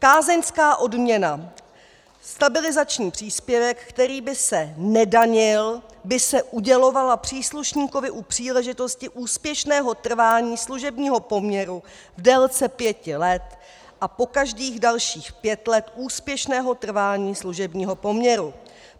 Kázeňská odměna, stabilizační příspěvek, který by se nedanil, by se udělovala příslušníkovi u příležitosti úspěšného trvání služebního poměru v délce pěti let a po každých dalších pět let úspěšného trvání služebního poměru.